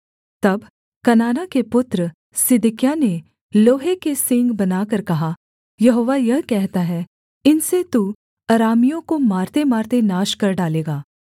तब कनाना के पुत्र सिदकिय्याह ने लोहे के सींग बनाकर कहा यहोवा यह कहता है इनसे तू अरामियों को मारतेमारते नाश कर डालेगा